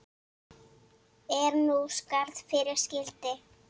Er nú skarð fyrir skildi.